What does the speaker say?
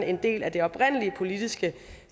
en del af det oprindelige politiske